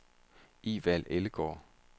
Evald Ellegaard